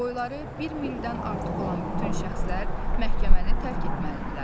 Boyları bir mildən artıq olan bütün şəxslər məhkəməni tərk etməlidirlər.